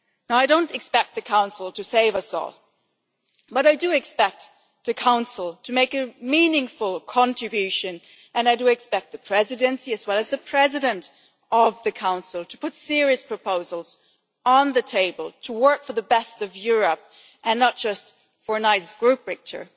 I don't expect the Council to save us all, but I do expect the Council to make a meaningful contribution, and I do expect the Presidency and the President of the Council to put serious proposals on the table to work for the best of Europe, and not just for a nice group picture.